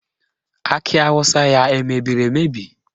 Akị awụsa ya emebiri emebi?